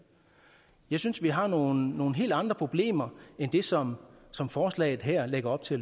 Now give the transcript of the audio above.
jeg synes at vi har nogle nogle helt andre problemer end dem som som forslaget her lægger op til